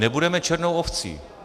Nebudeme černou ovcí.